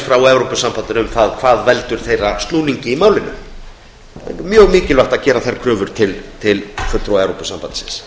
frá evrópusambandinu um hvað valdi snúningi þess í málinu það er mjög mikilvægt að gera þær kröfur til fulltrúa evrópusambandsins